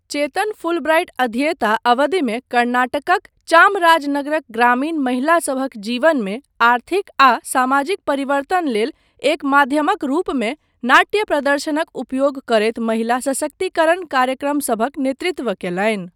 चेतन Fulbright अध्येता अवधिमे कर्नाटकक चामराजनगरक ग्रामीण महिलासभक जीवनमे आर्थिक आ सामाजिक परिवर्तन लेल एक माध्यमक रूपमे नाट्य प्रदर्शनक उपयोग करैत महिला सशक्तिकरण कार्यक्रमसभक नेतृत्व कयलनि।